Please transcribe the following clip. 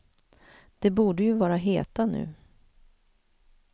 De borde ju vara heta nu.